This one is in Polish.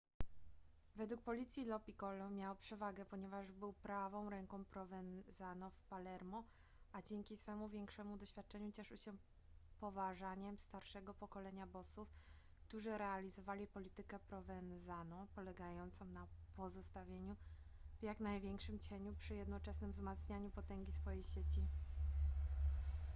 według policji lo piccolo miał przewagę ponieważ był prawą ręką provenzano w palermo a dzięki swemu większemu doświadczeniu cieszył się poważaniem starszego pokolenia bossów którzy realizowali politykę provenzano polegającą na pozostawaniu w jak największym cieniu przy jednoczesnym wzmacnianiu potęgi swojej sieci